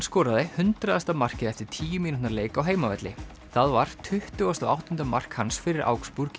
skoraði hundraðasta markið eftir tíu mínútna leik á heimavelli það var tuttugasta og áttunda mark hans fyrir augsburg í